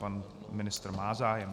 Pan ministr má zájem.